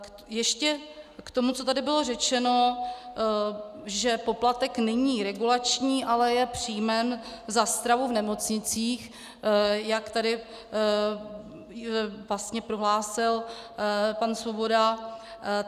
Ještě k tomu, co tady bylo řečeno, že poplatek není regulační, ale je příjmem za stravu v nemocnicích, jak tady vlastně prohlásil pan Svoboda.